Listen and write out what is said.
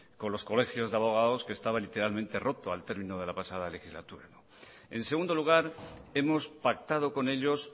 con los colegios de abogados que estaba literalmente roto al término de la pasada legislatura en segundo lugar hemos pactado con ellos